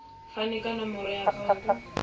fane ka nomoro ya akhauntu